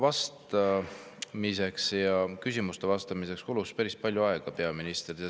Arupärimise küsimustele vastamiseks kulus peaministril päris palju aega.